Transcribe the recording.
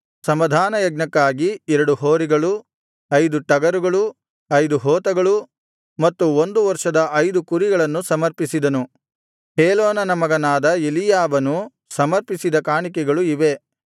ಸಮಾಧಾನಯಜ್ಞಕ್ಕಾಗಿ ಎರಡು ಹೋರಿಗಳು ಐದು ಟಗರುಗಳು ಐದು ಹೋತಗಳು ಮತ್ತು ಒಂದು ವರ್ಷದ ಐದು ಕುರಿಗಳನ್ನು ಸಮರ್ಪಿಸಿದನು ಹೇಲೋನನ ಮಗನಾದ ಎಲೀಯಾಬನು ಸಮರ್ಪಿಸಿದ ಕಾಣಿಕೆಗಳು ಇವೇ